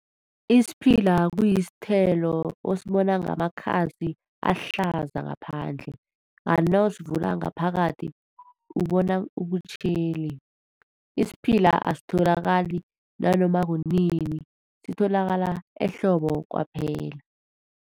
Isiphila kuyisithelo osibona ngamakhasi ahlaza ngaphandle kanti nawusivula ngaphakathi ubona ubutjheli. Isiphila asitholakali nanoma kunini sitholakala ehlobo kwaphela.